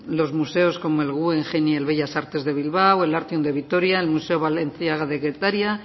los museos como el guggenheim y el bellas artes de bilbao el artium de vitoria el museo balenciaga de getaria